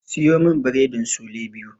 Siyo min biredin sule biyu.